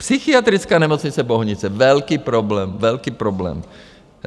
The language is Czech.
Psychiatrická nemocnice Bohnice - velký problém, velký problém.